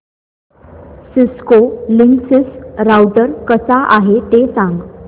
Cisco Linksys router कसा आहे ते सांग